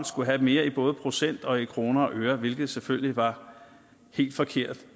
skulle have mere både i procent og i kroner og øre hvilket selvfølgelig var helt forkert